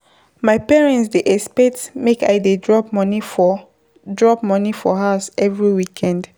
My parents dey expect make I dey drop money for drop money for house every weekend.